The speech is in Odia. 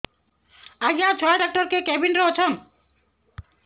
ଆଜ୍ଞା ଛୁଆ ଡାକ୍ତର କେ କେବିନ୍ ରେ ଅଛନ୍